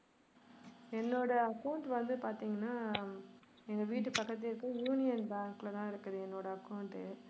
என்னுடைய account வந்து பாத்தீங்கன்னா ஹம் எங்க வீட்டு பக்கத்துலேயே இருக்கிற யூனியன் பேங்க்ல தான் இருக்கு என்னுடைய account உ.